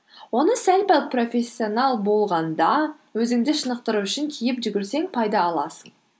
оны сәл пәл профессионал болғанда өзіңді шынықтыру үшін киіп жүгірсең пайда аласың